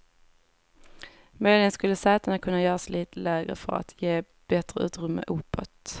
Möjligen skulle sätena kunna göras lite lägre för att ge bättre utrymme uppåt.